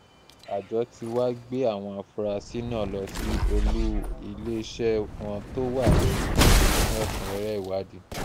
àjọ tí wàá gbé àwọn afurasí náà lọ sí olú iléeṣẹ́ wọn tó wà ní ìlọrin fún ẹ̀kúnrẹ́rẹ́ ìwádìí